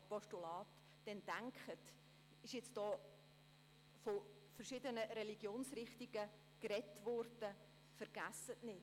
Es wurde von verschiedenen Religionsrichtungen gesprochen, aber vergessen Sie nicht: